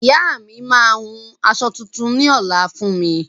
Ìyá mi maa hun aṣọ tuntun ní ọ̀la fún mi